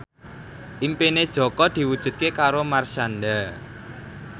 impine Jaka diwujudke karo Marshanda